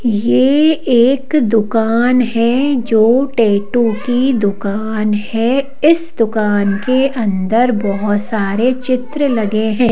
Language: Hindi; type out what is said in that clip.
यह एक दुकान है जो टैटू की दुकान है इस दुकान के अंदर बहुत सारे चित्र लगे हैं।